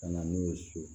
Ka na n'o ye so